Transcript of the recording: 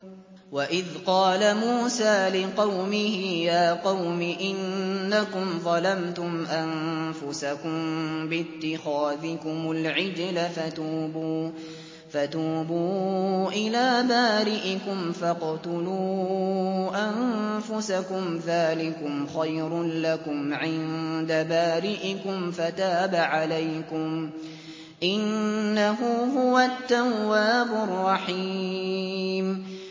وَإِذْ قَالَ مُوسَىٰ لِقَوْمِهِ يَا قَوْمِ إِنَّكُمْ ظَلَمْتُمْ أَنفُسَكُم بِاتِّخَاذِكُمُ الْعِجْلَ فَتُوبُوا إِلَىٰ بَارِئِكُمْ فَاقْتُلُوا أَنفُسَكُمْ ذَٰلِكُمْ خَيْرٌ لَّكُمْ عِندَ بَارِئِكُمْ فَتَابَ عَلَيْكُمْ ۚ إِنَّهُ هُوَ التَّوَّابُ الرَّحِيمُ